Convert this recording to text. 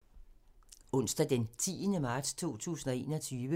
Onsdag d. 10. marts 2021